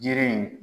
Jiri in